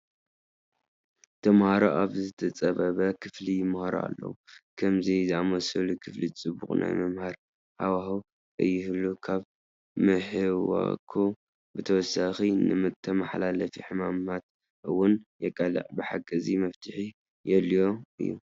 ተመሃሮ ኣብ ዝተፃበበ ክፍሊ ይመሃሩ ኣለዉ፡፡ ከምዚ ዝኣምሰለ ክፍሊ ፅቡቕ ናይ ምምሃር ሃዋሁ ከይህሉ ካብ ምሕዋኹ ብተወሳኺ ንተመሓላለፍቲ ሕማማት እውን የቃልዕ፡፡ ብሓቂ እዚ መፍትሒ የድልዮ እዩ፡፡